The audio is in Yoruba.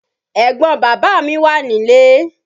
Ẹ̀gbọn bàbá mí wà nílé.